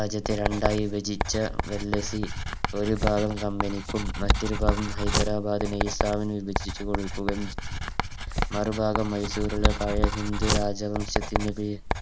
രാജ്യത്തെ രണ്ടായി വിഭചിച്ച ഡൽഹസ്സി ഒരു ഭാഗം Company ക്കും മറ്റൊരു ഭാഗം ഹൈദരാബാദ് നിസാമിനും വിഭചിച്ചു കൊടുക്കുകം മറുഭാഗം മൈസുരുള്ള പഴയ ഹിന്ദു രാജവംശത്തിൻറെ പേ